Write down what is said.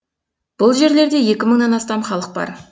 бұл жерлерде екі мыңнан астам халық бар